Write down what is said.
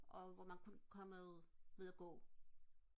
og hvor man kun komme ud og gå